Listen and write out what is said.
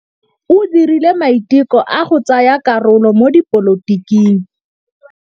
O dirile maitekô a go tsaya karolo mo dipolotiking.